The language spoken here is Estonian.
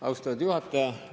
Austatud juhataja!